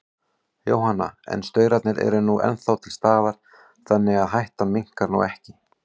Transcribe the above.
Jóhanna: En staurarnir eru nú ennþá til staðar, þannig að hættan minnkar nú ekki?